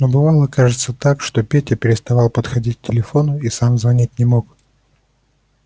но бывало кажется так что петя переставал подходить к телефону и сам звонить не мог